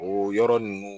O yɔrɔ ninnu